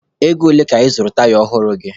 Ego ole ka ị zụrụ taya ọhụrụ gị?